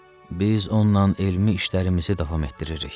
Biz onunla elmi işlərimizi davam etdiririk.